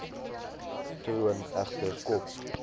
troon egter kop